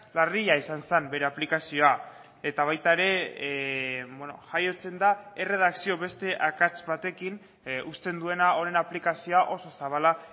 larria izan zen bere aplikazioa eta baita ere jaiotzen da erredakzio beste akats batekin uzten duena honen aplikazioa oso zabala